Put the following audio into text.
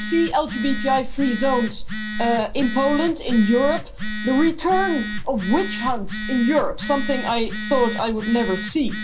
We see LGBTI free zones in Poland, in Europe, the return of witch hunts in Europe something I thought I would never see.